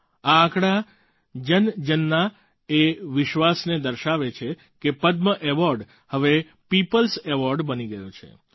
આ આંકડા જનજનના એ વિશ્વાસને દર્શાવે છે કે પદ્મ એવૉર્ડ હવે પીપલ્સ એવૉર્ડ બની ગયા છે